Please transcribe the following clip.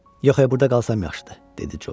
Yox e, burda qalsam yaxşıdır, dedi Corc.